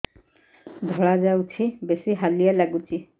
ଧଳା ଯାଉଛି ବେଶି ହାଲିଆ ଲାଗୁଚି